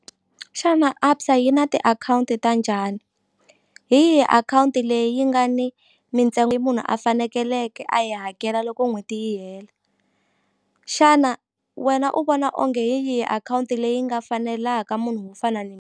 Xana ABSA yi na tiakhawunti ta njhani hi yihi akhawunti leyi nga ni mintsengo munhu a fanekeleke a yi hakela loko n'hweti yi hela xana wena u vona onge hi yihi akhawunti leyi nga fanelaka munhu wo fana .